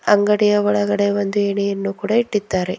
ಅಂಡಗಿಯ ಒಳಗಡೆ ಒಂದು ಏಣಿಯನ್ನು ಕೂಡಾ ಇಟ್ಟಿದ್ದಾರೆ.